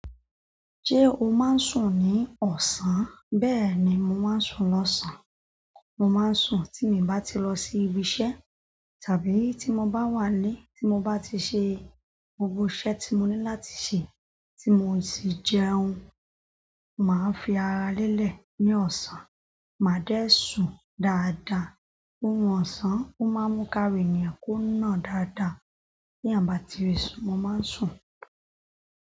Ṣe o máa ń sùn ní ọ̀sán? Bẹ́ẹ̀ ni mo máa ń sùn lọ́sàn-án. Mo máa ń sùn tí mi i bá ti lọ sí ibi iṣẹ́ tàbí tí mo bá wà ílé tí mo bá ti ṣe gbogbo iṣẹ́ tí mo ní láti ṣe, tí mo sì jẹun. Máa ń fi ara lélẹ̀ ní ọ̀sán, máa dẹ̀ sùn dáadáa. Ooru ọ̀sán o máa ń mú kara ènìyàn kó nà dáadáa. Bi èèyàn ba ti le sun, mo máa ń sùn.